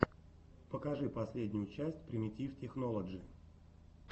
покажи последнюю часть примитив технолоджи